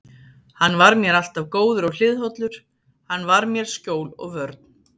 Hann var mér alltaf góður og hliðhollur, hann var mér skjól og vörn.